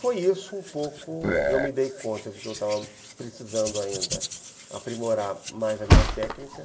Foi isso um pouco que eu me dei conta de que eu estava precisando ainda aprimorar mais a minha técnica.